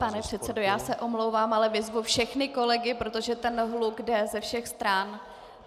Pane předsedo, já se omlouvám, ale vyzvu všechny kolegy, protože ten hluk jde ze všech stran.